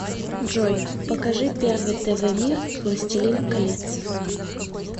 джой покажи первый тв мир властелин колец